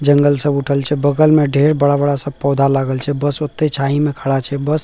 जंगल सब उठल छै बगल में ढेर बड़ा-बड़ा सब पौधा लागल छै बस ओते छायी में खड़ा छै बस --